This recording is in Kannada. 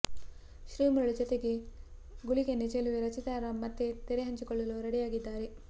ಶ್ರೀಮುರುಳಿ ಜತೆಗೆ ಗುಳಿಕೆನ್ನೆ ಚೆಲುವೆ ರಚಿತಾ ರಾಮ್ ಮತ್ತೆ ತೆರೆ ಹಂಚಿಕೊಳ್ಳಲು ರೆಡಿ ಆಗಿದ್ದಾರೆ